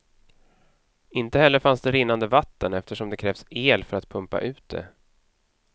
Inte heller fanns det rinnande vatten eftersom det krävs el för att pumpa ut det.